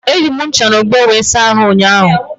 Eji m ncha na ogbo wee saa ahụ ụnyaahụ.